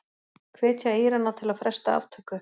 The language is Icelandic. Hvetja Írana til að fresta aftöku